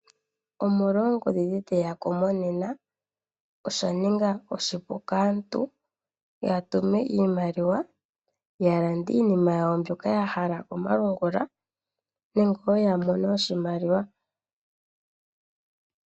Omolwa oongodhi ndhi dhe ya ko monena osha ninga oshipu kaantu ya tume iimaliwa ya lande iinima yawo mbyoka ya hala komalungula nenge wo ya mone oshimaliwa.